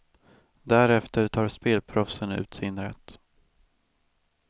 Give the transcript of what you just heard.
Därefter tar spelproffsen ut sin rätt.